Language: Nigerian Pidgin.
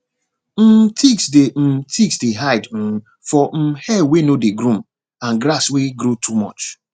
um ticks dey um ticks dey hide um for um hair wey no dey groom and grass wey grow too much